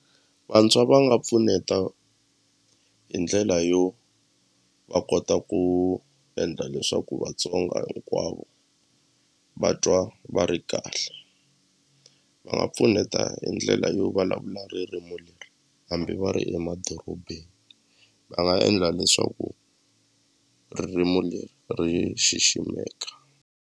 Vantshwa va nga pfuneta hi ndlela yo va kota ku endla leswaku Vatsonga hinkwavo va twa va ri kahle va nga pfuneta hi ndlela yo vulavula ririmi leri hambi va ri emadorobeni va nga endla leswaku ririmi leri ri xiximekaka.